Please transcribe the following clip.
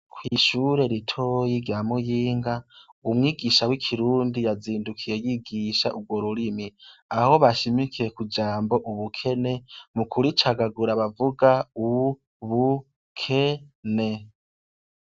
Kw'ishure ritoyi rya Muyinga, umwigisha w'ikirundi yazindukiye yigisha urwo rurimi. Aho bashimikiye kw'ijambo ubukene mu kuricagagura bavuga u bu ke ne.